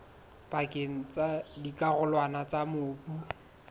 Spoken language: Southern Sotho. pakeng tsa dikarolwana tsa mobu